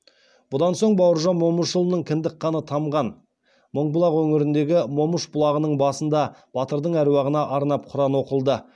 бұдан соң бауыржан момышұлының кіндік қаны тамған тамған мыңбұлақ өңіріндегі момыш бұлағының басында батырдың әруағына арнап құран оқылды